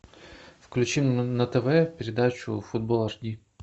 включи на тв передачу футбол аш ди